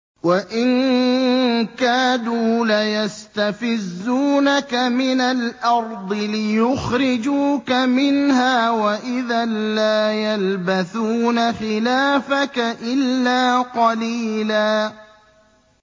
وَإِن كَادُوا لَيَسْتَفِزُّونَكَ مِنَ الْأَرْضِ لِيُخْرِجُوكَ مِنْهَا ۖ وَإِذًا لَّا يَلْبَثُونَ خِلَافَكَ إِلَّا قَلِيلًا